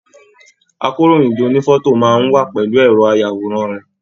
Àkòróyinjọ́ ònífọ̀tò máa n wà pẹlú ẹrọ ayàwòrán rẹ.